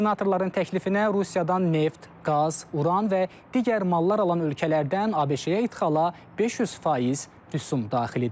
Senatorların təklifinə Rusiyadan neft, qaz, uran və digər mallar alan ölkələrdən ABŞ-yə idxala 500% rüsum daxil edilib.